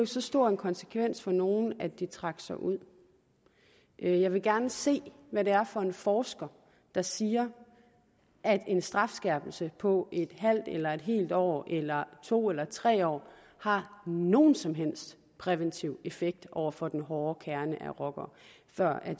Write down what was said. så stor en konsekvens for nogle at de trak sig ud jeg vil gerne se hvad det er for en forsker der siger at en strafskærpelse på et halvt eller et helt år eller to eller tre år har nogen som helst præventiv effekt over for den hårde kerne af rockere før